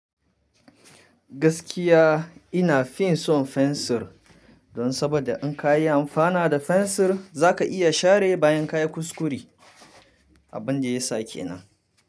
Gaskiya ina fin son fensir don saboda in ka yi amfana da fensir za ka iya share bayan ka yi kuskure. Abin da ya sake na.